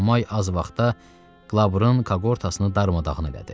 Enomay az vaxtda Qlaburun koqortasını darmadağın elədi.